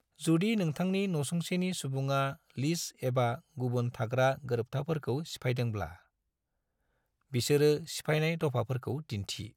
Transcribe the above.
जुदि नोंथांनि नसुंसेनि सुबुंआ लीज एबा गुबुन थाग्रा गोरोबथाफोरखौ सिफायदोंब्ला, बिसोरो सिफायनाय दफाफोरखौ दिन्थि।